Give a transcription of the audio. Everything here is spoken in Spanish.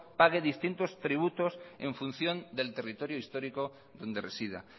pague distintos tributos en función del territorio histórico donde resida